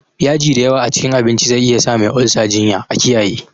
Yaji dayawa a cikin abinci zai iyasa Mai olsa jinya, a kiyaye.